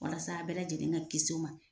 Walasa a bɛɛ lajɛlen ka kisi o ma